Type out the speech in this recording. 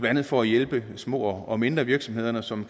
andet for at hjælpe små og mindre virksomheder som